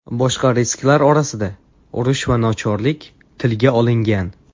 Boshqa risklar orasida urush va nochorlik tilga olingan.